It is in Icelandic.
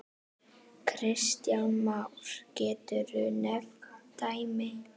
Kristján Már: Geturðu nefnt dæmi?